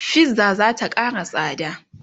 fizza zata Kara tsada